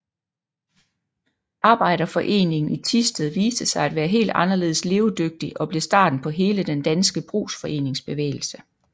Arbejderforeningen i Thisted viste sig at være helt anderledes levedygtig og blev starten på hele den danske brugsforeningsbevægelse